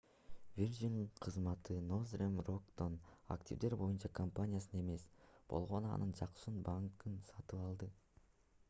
virgin кызматы nothern rock'тон активдер боюнча компанияны эмес болгону анын жакшы банкын сатып алды